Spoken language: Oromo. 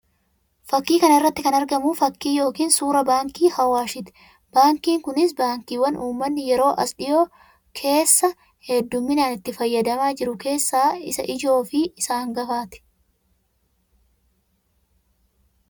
Fakkii kana irratti kan argamu fakkii yookiin suuraa baankii Awaashii ti. Baankiin kunis baankiiwwan uummanni yeroo as dhiyoo keessa hedduminaan itti fayyadamaa jiru keessaa isa ijoo fi isa hangafaa ti.